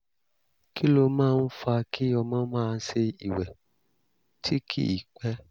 kí ló máa ń fa kí ọmọ máa ṣe ìwẹ̀ tí kì í pẹ́?